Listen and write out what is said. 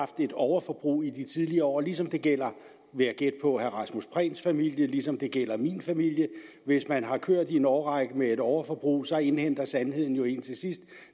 et overforbrug i de tidligere år ligesom det gælder vil jeg gætte på herre rasmus prehns familie ligesom det gælder min familie hvis man har kørt i en årrække med et overforbrug så indhenter sandheden jo en til sidst